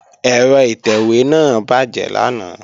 Ẹ̀rọ ìtẹ̀wé náà bàjẹ́ lánàá